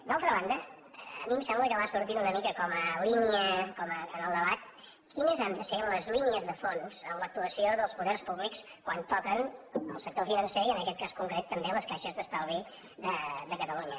d’altra banda a mi em sembla que va sortint una mica com a línia en el debat quines han de ser les línies de fons en l’actuació dels poders públics quan toquen el sector financer i en aquest cas concret també les caixes d’estalvi de catalunya